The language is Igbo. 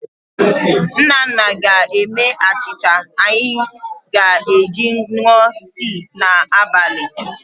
Nnanna ga-eme achịcha anyị ga-eji ṅụọ tii n'abalị.